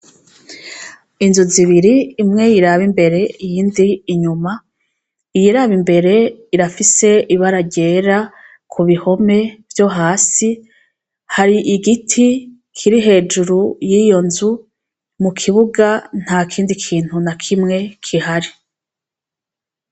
Inzu zibiri imwe iraba imbere iyindi inyuma iyiraba imbere irafise ibara ryera ku bihome vyo hasi hari igiti kiri hejuru yiyo nzu mu kibuga nta kindi kintu na kimwe kihari.